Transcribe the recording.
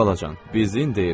Xalacan, bizim deyin.